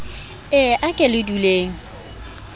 e a ke le duleng